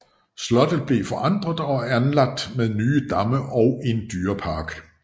Slottet blev forandret og anlagt med nye damme og en dyrepark